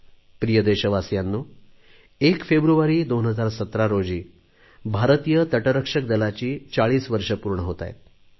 प्रिय देशवासियांनो 1 फेब्रुवारी 2017 रोजी भारतीय तटरक्षक दलाची चाळीस वर्षे पूर्ण होत आहेत